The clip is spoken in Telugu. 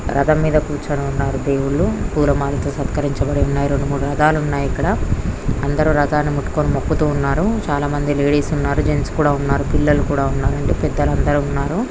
రధం మీద కూర్చొని ఉన్నారు దేవులు పూలమాలతో సత్కరించి ఉన్నాయి రెండు మూడు మాలలతో అందరూ రధాన్ని ముట్టుకొని మొక్కుతున్నారు చాల మంది లేడీస్ ఉన్నారు జెంట్స్ కూడా ఉన్నారు పిల్లలు అందరు ఉన్నారు అందరూ పెద్దవాళ్లు ఉన్నారు.